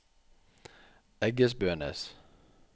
Eggesbønes